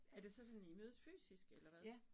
Er det så sådan I mødes fysisk eller hvad